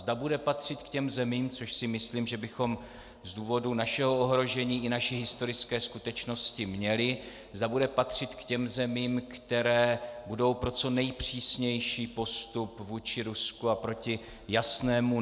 Zda bude patřit k těm zemím - což si myslím, že bychom z důvodu našeho ohrožení i naší historické skutečnosti měli - zda bude patřit k těm zemím, které budou pro co nejpřísnější postup vůči Rusku a proti jasnému (?)